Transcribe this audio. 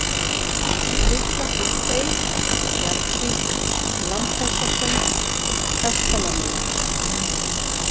Litla-Hrútey, Bjargvík, Lambhúsasund, Kastalamelar